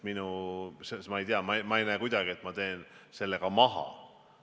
Nii et ma ei tea, ma ei näe kuidagi, et ma teen maha.